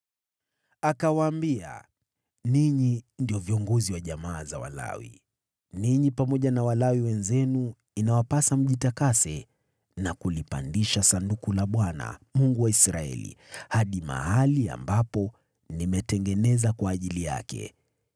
Akawaambia, “Ninyi ndio viongozi wa jamaa za Walawi. Ninyi pamoja na Walawi wenzenu inawapasa mjitakase na kulipandisha Sanduku la Bwana , Mungu wa Israeli hadi mahali ambapo nimetengeneza kwa ajili yake.